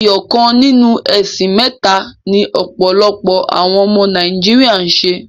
Ẹyọ kan ninu ẹ̀sìn mẹ́ta ni ọ̀pọ̀lọpọ̀ àwọn ọmọ Nàíjíríà ń ṣe.